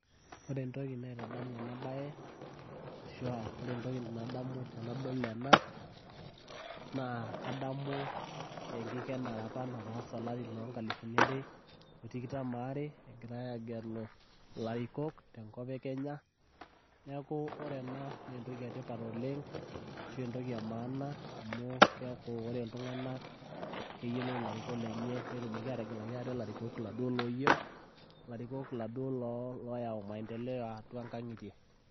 ore entoki nadamu tenadol ena naa kadamu enkikenare apa natase olari loo ngalifuni are otikitam aare, tegelare olosho lekenya naa entoki emaana amu keyiolou iltung'anak ilarikok lenye ,loyau maenteleo atua ingang'itie enye.